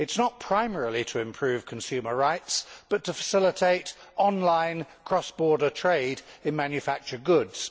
It is not primarily to improve consumer rights, but to facilitate online cross border trade in manufactured goods.